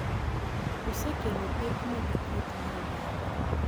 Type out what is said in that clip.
Osekelo pek mag thieth mar oganda